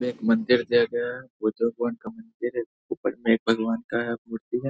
में एक मंदिर दिया गया है बुद्ध भगवन का मंदिर है जिसके ऊपर में भगवन का है मूर्ती है।